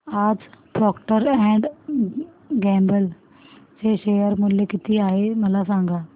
आज Procter and Gamble चे share मूल्य किती आहे मला सांगा